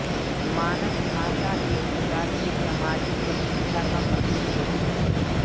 मानक भाषा एक प्रकार से सामाजिक प्रतिष्ठा का प्रतीक होती है